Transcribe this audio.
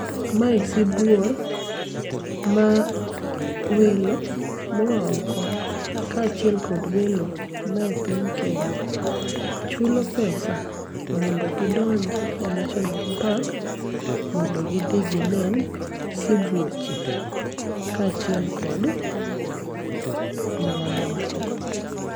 Mae sibuor, mawelo moaoko koachiel kod welo mae piny Kenya, chulo pesa mondo gidonji e National Park mondo gidhi ginen sibuoche, kachiel kod mamoko.